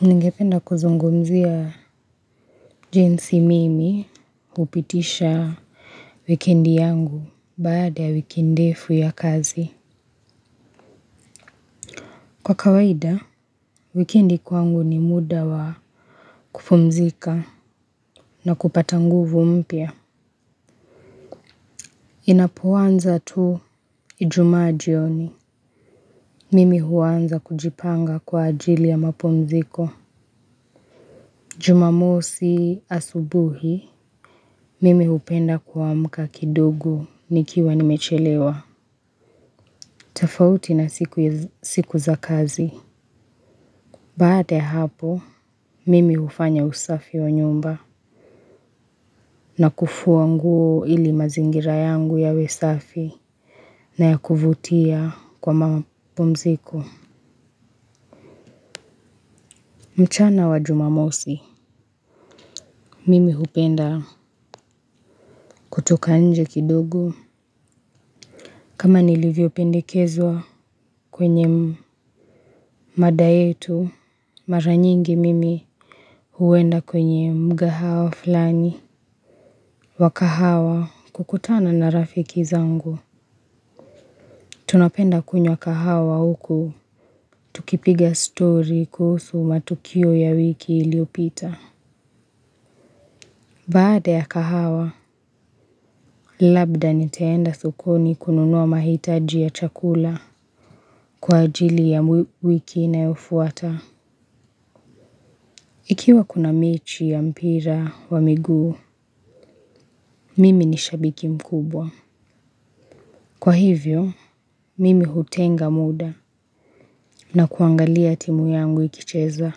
Ningependa kuzungumzia jinsi mimi upitisha wikendi yangu baada wikindefu ya kazi. Kwa kawaida, wikendi kwangu ni muda wa kupumzika na kupata nguvu mpya. Inapowanza tu ijuma jioni. Mimi huwanza kujipanga kwa ajili ya mapumziko. Jumamosi asubuhi, mimi upenda kwa mka kidogo nikiwa nimechelewa. Tafauti na siku za kazi. Baata hapo, mimi ufanya usafi wa nyumba. Na kufuwa nguo ili mazingira yangu yawe safi na ya kuvutia kwa mapumziko. Mchana wajumamosi mimi upenda kutoka nje kidogo. Kama nilivyo pendikezwa kwenye mada yetu. Maranyingi mimi huwenda kwenye mgahawa falani wa kahawa kukutana na rafiki zangu. Tunapenda kunyo kahawa huku tukipiga story kuhusu matukio ya wiki iliopita. Baada ya kahawa. Labda niteenda sokoni kununuwa mahitaji ya chakula kwa ajili ya wiki nayofuata. Ikiwa kuna mechi ya mpira wa miguu mimi nishabiki mkubwa. Kwa hivyo, mimi hutenga muda na kuangalia timu yangu ikicheza.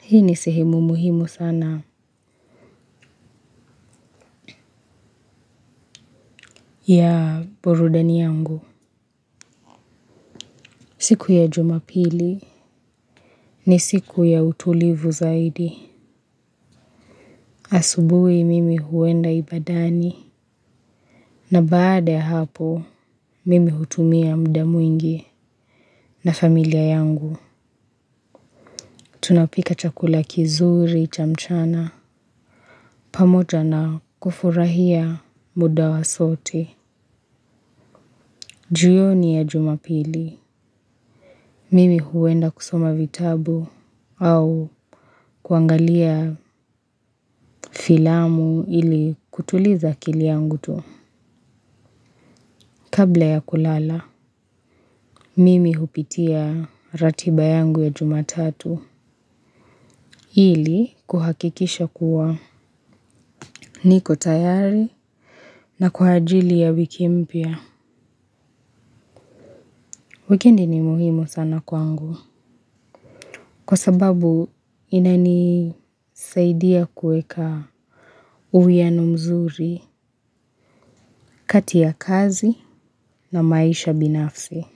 Hii ni sehemu muhimu sana ya burudani yangu. Siku ya jumapili ni siku ya utulivu zaidi asubuhi mimi huenda ibadani. Na baada ya hapo mimi hutumia mda mwingi na familia yangu. Tunapika chakula kizuri chamchana pamoja na kufurahia muda wa sote. Juyoni ya jumapili mimi huwenda kusoma vitabu au kuangalia filamu ili kutuliza akili yangu tu. Kabla ya kulala, mimi hupitia ratiba yangu ya jumatatu ili kuhakikisha kuwa niko tayari na kuhajili ya wiki mpia. Weekendi ni muhimu sana kwangu kwa sababu inani saidia kueka uwiano mzuri, kati ya kazi na maisha binafsi.